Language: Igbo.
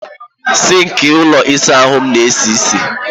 Sink ụlọ ịsa ahụ m na-esi isi.